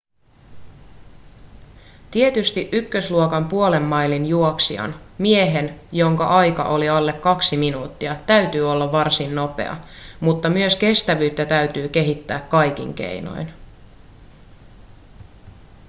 tietysti ykkösluokan puolen mailin juoksijan miehen jonka aika on alle kaksi minuuttia täytyy olla varsin nopea mutta myös kestävyyttä täytyy kehittää kaikin keinoin